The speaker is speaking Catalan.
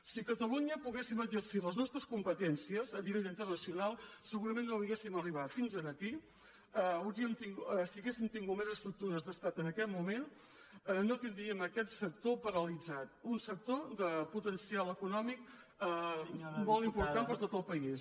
si a catalunya poguéssim exercir les nostres compe·tències a nivell internacional segurament no hauríem arribat fins aquí si haguéssim tingut més estructures d’estat en aquest moment no tindríem aquest sector paralitzat un sector de potencial econòmic molt im·portant per a tot el país